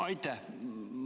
Aitäh!